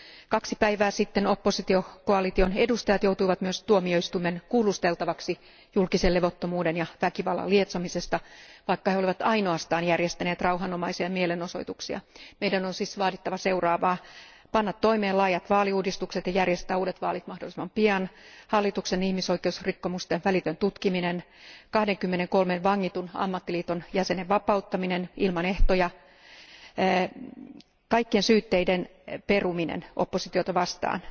Kaksi päivää sitten oppositiokoalition edustajat joutuivat myös tuomioistuimen kuulusteltavaksi julkisen levottomuuden ja väkivallan lietsomisesta, vaikka he olivat ainoastaan järjestäneet rauhanomaisia mielenosoituksia. Meidän on siis vaadittava seuraavaa laajojen vaaliuudistusten täytäntöönpano ja uusien vaalien järjestäminen mahdollisimman pian, hallituksen ihmisoikeusrikkomusten välitön tutkiminen, 23 vangitun ammattiliiton jäsenen vapauttaminen ilman ehtoja, kaikkien syytteiden peruminen oppositiota vastaan